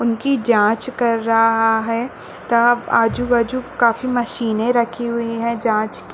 उनकी जाँच कर रहा है तरफ आजू -बाजू काफ़ी मशीने रखी हुई है जाँच की